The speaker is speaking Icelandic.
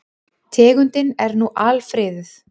Tegundin er nú alfriðuð.